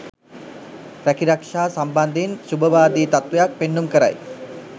රැකීරක්ෂා සම්බන්ධයෙන් ශුභවාදී තත්ත්වයක් පෙන්නුම් කරයි.